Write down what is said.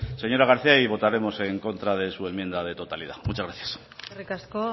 señora garcía votaremos en contra de su enmienda de totalidad muchas gracias eskerrik asko